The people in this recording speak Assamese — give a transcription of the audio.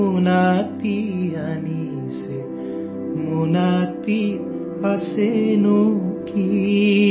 অসমীয়া ধ্বনি ক্লিপ ৩৫ ছেকেণ্ড